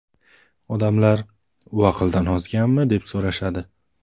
Odamlar ‘U aqldan ozganmi?’ deb so‘rashadi.